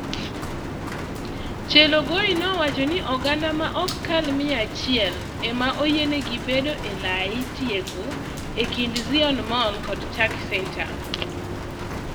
Chelogoi nowacho ni oganda ma ok kal mia achiel ema oyiene gi bedo ee lai tieko ee kind Ziona Mall kod TAC Centre